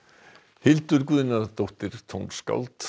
Hildur Guðnadóttir tónskáld